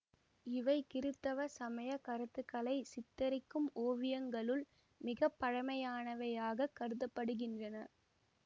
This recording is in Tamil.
இவை கிறித்தவ சமய கருத்துக்களை சித்தரிக்கும் ஓவியங்களுள் மிக பழமையானவையாகக் கருத படுகின்றன